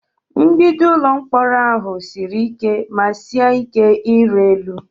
Mgbidi ụlọ mkpọrọ ahụ siri ike ma sie ike ịrị elu?